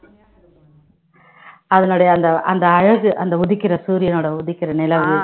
அதனுடைய அந்த அந்த அழகு அந்த உதிக்கிற சூரியனோட உதிக்கிற நிழல்